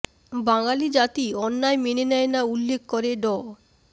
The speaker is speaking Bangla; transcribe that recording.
বাঙালি জাতি অন্যায় মেনে নেয় না উল্লেখ করে ড